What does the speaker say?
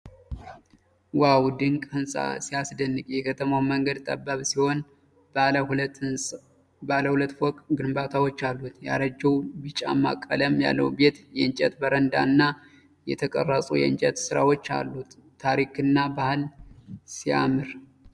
ዋው! ድንቅ ህንፃ ሲያስደንቅ! የከተማው መንገድ ጠባብ ሲሆን ባለ ሁለት ፎቅ ግንባታዎች አሉበት። ያረጀው ቢጫማ ቀለም ያለው ቤት የእንጨት በረንዳ እና የተቀረጹ የእንጨት ሥራዎች አሉት። ታሪክና ባህል ሲያምር!።